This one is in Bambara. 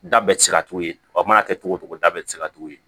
Da bɛɛ tɛ se ka tugu yen wa mana kɛ cogo o cogo da bɛ se ka tugu yen